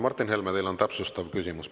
Martin Helme, teil on täpsustav küsimus.